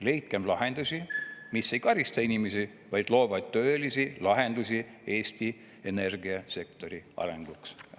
Leidkem lahendusi, mis ei karista inimesi, vaid loovad tõelisi lahendusi Eesti energiasektori arenguks!